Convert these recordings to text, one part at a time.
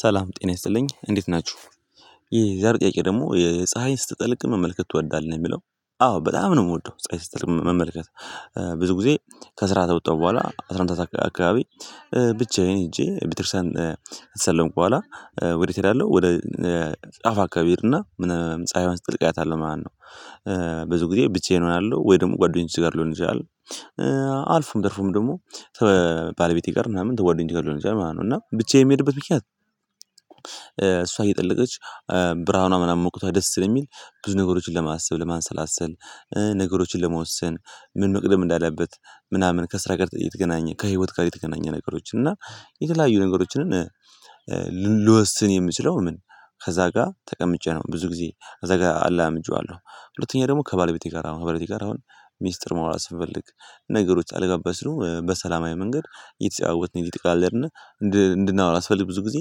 ሰላም ጤና ይስለኝ እንዴት ናቹ። የዛሬ ጥያቄ ደግሞ ፀሀይ ስትጥልቅ መመልከት ትወዳለህ የሚለው? አዎ በጣም ነው የምወደው ፀሀይ ስትጠልቅ መመልከት። ብዙ ጊዜ ከስራ ከወጣሁ በኋላ አስራአንድ ሰዓት አካባቢ። ብቻዬን ሄጄ ቤተክርስትያን ከሳለምኩ በኋላ ወዴት እሄዳለሁ ወደ ጫፍ አካባቢ እሄድና ምን ጸሀይዋ ስትጠልቅ አያታለው ማለት ነው። ብዙ ጊዜ ብቻዬን እሆናለሁ ወይ ደግሞ ጓደኞቼ ጋር ልሆን እችላለሁ አልፎም ተርፎም ደግሞ ከባለቤቴ ጋር ምናምን ከጓደኞቼም ሊሆን ይችላል ማለት ነው እና ብቻ ብቻዬን የምሄድበት። እሷ እየጠለቀች ብርሃኗ ምናምን ሙቀቷ ደስ ስለሚል ብዙ ነገሮችን ለማሰብ ለማንሰላሰል። ነገሮችን ለመወሰን ምን መቅደም እንዳለበት ምናምን ከስራ ጋር የተገናኘ ከህይወት ጋር የተገናኘ ነገሮችን እና የተለያዩ ነገሮችንን። የምችለው ምን ከዛ ጋር ተቀምጬ ነው ብዙ ጊዜ እዛ ጋር አላምጄዋለው። ሁለተኛ ደግሞ ከባለቤቴ ጋር አሁን ከባለቤቴ ጋር አሁን ሚስጥር ማውራት ስንፈልግ ነገሮች አለመጋባባት ሲኖር በሰላማዊ መንገድ እየተጫወትን እየተቀላለድን። እንድናውራ ስፈልግ ብዙ ጊዜ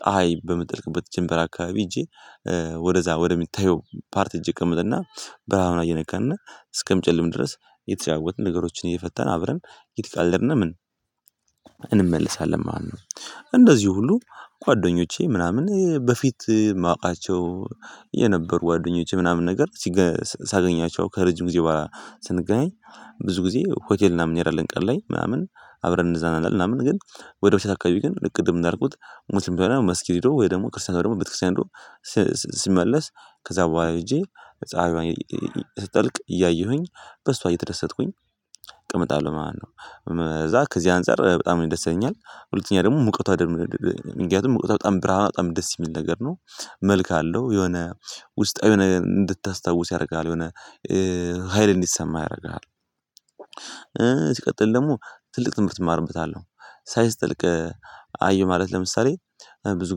ፀሀይ በምትጠልቅበት ጀምበር አካባቢ ሄጄ ወደዛ ወደሚታየው ፓርት ህጄ እቀመጥና ብርሃን ምናምን እየነካንና እስከሚጨልም ድረስ የተጫወትን ነገሮችን እየፈተን አብረን የተቀለድን ምን እንመልሳለን ማለት ነው። እንደዚሁ ሁሉ ጓደኞቼ ምናምን በፊት ማውቃቸው የነበሩ ጓደኞቼ ምናምን ነገር ሳገኛቸው ከረጅም ጊዜ በኋላ ስንገናኝ። ብዙ ጊዜ ሆቴል እና ምን እንሄዳለን ቀን ላይ ምናምን አብረን እንደዛ እንሄዳለን። ምናምን ግን ወደ ምሽት አካባቢ ግን ልክ ቅድም እንዳልኩት ሙስሊም ከሆነ መስጊድ ሄዶ ወይ ደግሞ ክርስቲያን ከሆነ ደግሞ ቤተክርስቲያን ሂዶ። ሲመለስ ከዛ በኋላ ሄጄ ፀሀይዋን ስትጠልቅ እያየሁኝ በሷ እየተደሰትኩኝ እቀምጣለው ማለት ነው። እዛ ከዚህ አንፃር በጣም ያስደሰኛል። ሁለተኛ ደግሞ ሙቀቷ ደግሞ ምክያቱም ሙቀቷ በጣም ብርሃን በጣም ደስ የሚል ነገር ነው። መልክ አለው የሆነ ውስጣዊ ነገር እንድታስታውስ ያደርግሃል የሆነ ሀይል እንዲሰማህ ያደርግሃል። ሲቀጥል ደግሞ ትልቅ ትምህርት እማርበታለው። ፀሀይ ስተጠልቅ አየው ማለት ለምሳሌ ብዙ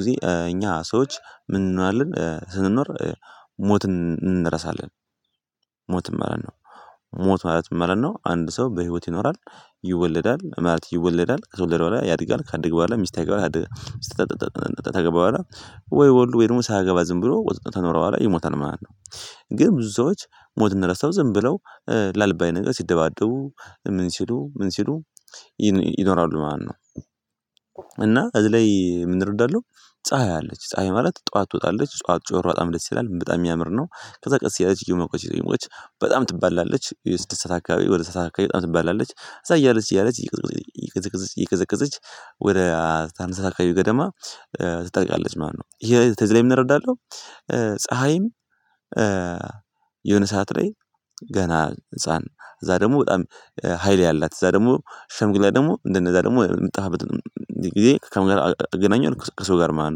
ጊዜ እኛ ሰዎች ምን እንሆናለን ስንኖር ሞት እንረሳለን። ሞት ማለት ነው ሞት ማለት ምን ማለት ነው? አንድ ሰው በህይወት ይኖራል። ይወለዳል ማለት ይወለዳል ከተወለደ በኋላ ያድጋል ከአድገ በኋላ ሚስት ያገባል ሚስት ካገባ በኋላ ወይ ወልዶ ደግሞ ሳያገባ ዝም ብሎ ከኖረ በኋላ ይሞታል ማለት ነው። ግን ብዙ ሰዎች ሞትን እንደረሳው ዝም ብለው ላልባዬ ሲደባደቡ ምን ሲሉ ምን ሲሉ ይኖራሉ ማለት ነው። እና እዚህ ላይ ምን እረዳለው። ፀሀይ አለች ፀሀይ ማለት ጠዋት ትወጣለች ጠዋት ጮሮ በጣም ደስ ይላል በጣም የሚያምር ነው። ከዛ ቀስ ያለች እየመቆች እየመቆች ትባላለች የስድስት አካባቢ ወደ ሰባት ሰዓት አካባቢ በጣም ትባላለች እዛ እያለች እያለች እየቀዘቀዘች እየቀዘቀዘች ወደ አስራአንድ ሰዓት አከባቢ ገደማ ትጸድቃለች ማለት ነው። ይሄ ከዚ ላይ ምን እረዳለው። ፀሀይም የሆነ ሰዓት ላይ ገና ህፃን እዛ ደግሞ በጣም ሀይል ያላት እዛ ደግሞ ሸምግላ ደግሞ እንደነዛ ደግሞ ምትጠፋበትን ጊዜ ከምን አገናኛለው ከሰው ጋር ማለት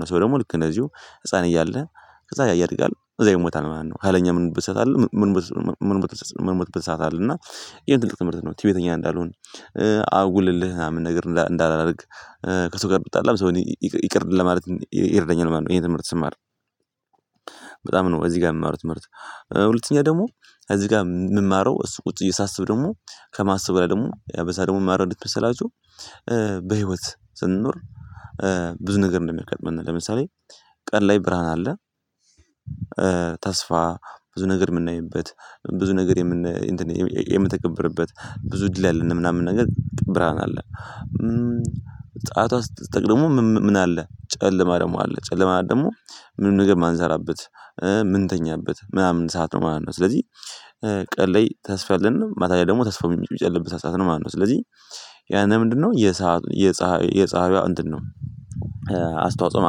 ነው። ሰው ደግሞ ልክ እንደዚሁ ህፃን እያለ ከዛ ያድጋል ከዛ ይሞታል ማለት ነው። ካለኛ ምን ብሰታለህ ምን ብሰጥ አለ እና ይሄ ትልቅ ትምርት ነው። ትዕቢተኛ እንዳልሆን። አጉል እልህ ምናምን ነገር እንዳላደርግ። ከሰው ጋር ብጣላም ሰው እኔ ይቅር ለማለት ይረዳኛል ማለት ነው። ይሄ ትምህርት ስማር በጣም ነው እዚህ ጋር የምማረው ትምህርት። ሁለተኛ ደግሞ እዚህ ጋር የምማረው እሱ ቁጭ ብዬ ሳሰብ ደግሞ ከማሰብ በላይ ደግሞ በዛ ደግሞ ምን እማራለው መሰላችሁ? በህይወት ስንኖር። ብዙ ነገር እንደሚገጥምህ ለምሳሌ ቀን ላይ ብርሃን አለ ተስፋ ብዙ ነገር የምናይበት ብዙ ነገር የምን የምትገብርበት ብዙ እድል ያለን ምናምን ነገር ብርሃን አለ። ጻሀይቷ ስትጠልቅ ምን አለ ጨለማ ደግሞ አለ ጨለማ ደግሞ ምንም ነገር የማንሰራበት ምን ተኛበት ምናምን ሰዓት ነው ማለት ነው። ስለዚህ ቀን ላይ ተስፋ አለን ማታ ላይ ደግሞ ተስፋው የሚጨልምበት ሰዓት ነው ማለት ነው። ስለዚህ ያንን ምንድነው የፀሀይ የፀሀይ የፀሀይዋ እንትን ነው። አስተዋጽኦ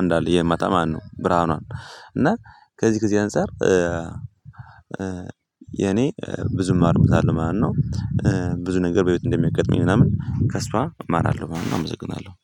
አንድ አለ የማታ ማለት ነው። ብርሃኗን እና ከዚህ ጊዜ አንፃር የኔ ብዙ እማርበታለው ማለት ነው። ብዙ ነገር በቤት እንደሚያጋጥመኝ ምናምን ከእሷ እማራለው ማለት ነው። አመሰግናለው